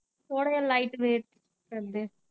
ਔਰ ਇਹ ਵੇਇਟ ਕਰਦੇ।